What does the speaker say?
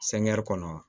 kɔnɔ